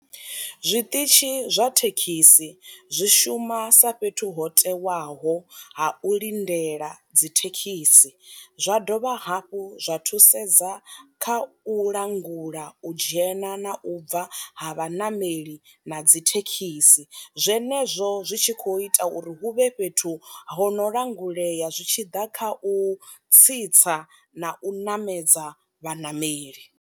Zwiṱitshi zwa thekhisi zwi shuma sa fhethu ho tewaho ha u lindela dzi thekhisi, zwa dovha hafhu zwa thusedza kha u langula u dzhena na u bva ha vhanameli na dzi thekhisi, zwenezwo zwi tshi kho ita uri hu vhe fhethu ho no languleya zwi tshi ḓa kha u tsitsa na u ṋamedza vhaṋameli.